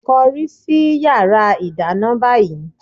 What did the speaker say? Kọrí sí yàrá ìdáná báyìí!